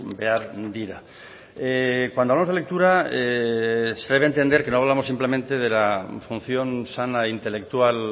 behar dira cuando hablamos de lectura se debe entender que no hablamos simplemente de la función sana intelectual